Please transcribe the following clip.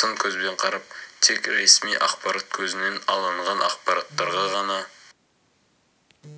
сын көзбен қарап тек ресми ақпарат көзінен алынған ақпараттарға ғана